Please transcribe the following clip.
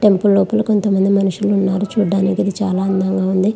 Temple లోపల కొంత మంది మనుషులు ఉన్నారు. చూడడానికి చాలా అందంగా ఉంది.